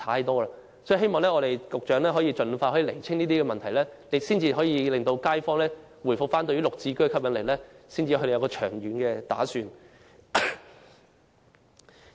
我希望局長可以盡快澄清這些問題，因為街坊必須認為"綠置居"有吸引力，才會作出長遠打算。